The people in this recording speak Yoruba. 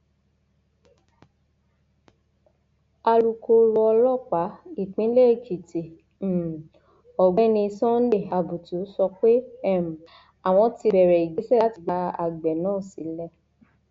alūkkóró ọlọpàá ìpínlẹ èkìtì um ọgbẹni sunday abutu sọ pé um àwọn ti bẹrẹ ìgbésẹ láti gba àgbẹ náà sílẹ